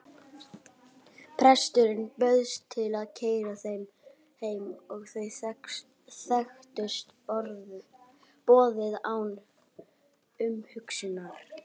Presturinn bauðst til að keyra þau heim og þau þekktust boðið án umhugsunar.